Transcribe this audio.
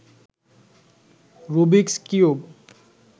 Rubik's cube